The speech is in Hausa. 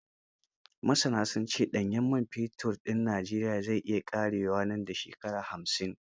Masana sun ce ɗanyen man fetur din Najeriya zai iya ƙarewa nan da shekara hamsin.